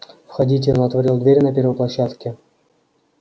входите он отворил дверь на первой площадке